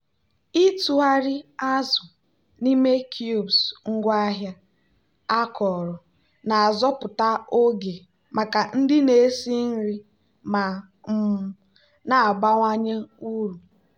ịtụgharị azụ n'ime cubes ngwaahịa akọrọ na-azọpụta oge maka ndị na-esi nri ma um na-abawanye uru.